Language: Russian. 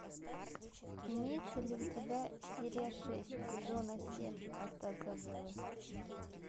имеется ли у тебя серия шесть сезона семь остаться в живых